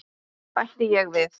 bætti ég við.